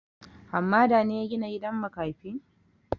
Hammada ne ya gina gidan makafi?